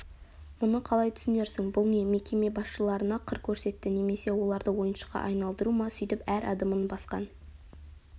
мұны қалай түсінерсің бұл не мекеме басшыларына қыр көрсетті немесе оларды ойыншыққа айналдыру ма сөйтіп әр адымын басқан